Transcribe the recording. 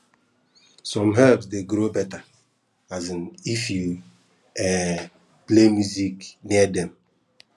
some herbs dey grow better um if you um play music near dem